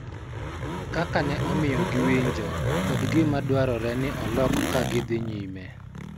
Kaka ne omiyo giwinjo, kod gima dwarore ni olok ka gidhi nyime.